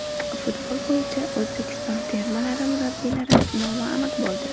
Futbol bo‘yicha O‘zbekiston termalari murabbiylari nomi aniq bo‘ldi.